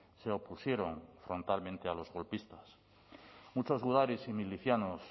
se opusieron frontalmente a los golpistas muchos gudaris y milicianos